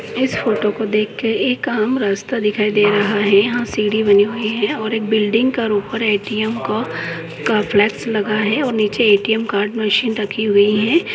इस फोटो को देखकर एक आम रास्ता दिखाई दे रहा है। यहां सीड़ी बनी हुइ है। और एक बिल्डिंग का ऊपर ए.टी.एम. का का फ्लैक्स लगा है। और नीचे ए.टी.एम. कार्ड मशीन रखी हुइ है।